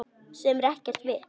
Sem er ekkert vit.